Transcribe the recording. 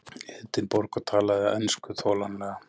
Edinborg og talaði ensku þolanlega.